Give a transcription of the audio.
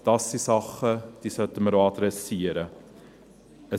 Das sind Dinge, die wir auch adressieren sollten.